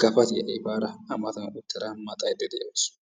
gapatiya efaada a matan uttada maxayidda dawusu.